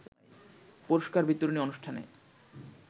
পুরষ্কার বিতরণী অনুষ্ঠানে